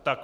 Tak.